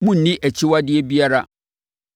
Monnni akyiwadeɛ biara.